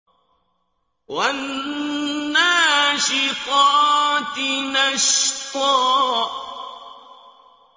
وَالنَّاشِطَاتِ نَشْطًا